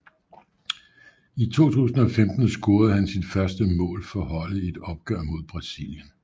I 2015 scorede han sit første mål for holdet i et opgør mod Brasilien